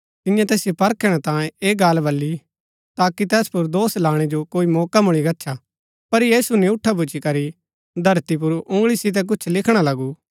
तियें तैसिओ परखणै तांयें ऐह गल्ल वली ताकि तैस पुर दोष लाणै जो कोई मौका मूळी गच्छा पर यीशु नियूँठा भूच्ची करी धरती पुर उँगळी सितै कुछ लिखणा लगू